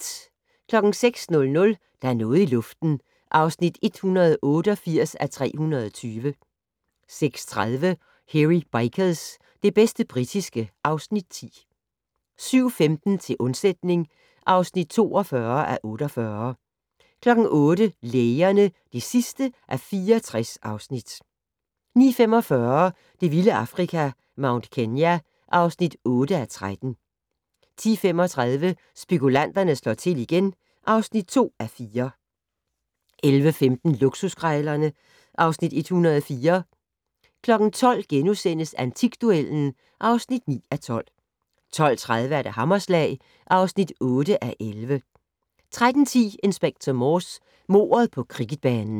06:00: Der er noget i luften (188:320) 06:30: Hairy Bikers - det bedste britiske (Afs. 10) 07:15: Til undsætning (42:48) 08:00: Lægerne (64:64) 09:45: Det vilde Afrika - Mount Kenya (8:13) 10:35: Spekulanterne slår til igen (2:4) 11:15: Luksuskrejlerne (Afs. 104) 12:00: Antikduellen (9:12)* 12:30: Hammerslag (8:11) 13:10: Inspector Morse: Mordet på cricketbanen